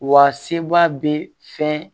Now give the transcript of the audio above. Wa seba bɛ fɛn